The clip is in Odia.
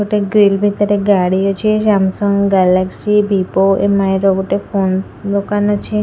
ଗୋଟେ ଗ୍ରୀଲ ଭିତରେ ଗାଡି ଅଛି ସାମସଙ୍ଗ ଗାଲାକ୍ସି ବିଭୋ ଏମଆଇ ର ଗୋଟେ ଫୋନ ଦୋକାନ ଅଛି ।